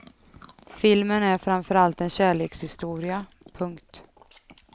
Filmen är framför allt en kärlekshistoria. punkt